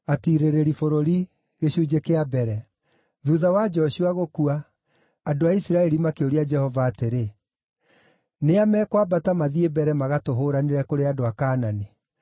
Thuutha wa Joshua gũkua, andũ a Isiraeli makĩũria Jehova atĩrĩ, “Nĩ a mekwambata mathiĩ mbere magatũhũũranĩre kũrĩ andũ a Kaanani?”